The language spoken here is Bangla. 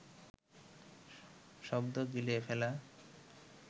শব্দ গিলে ফেলা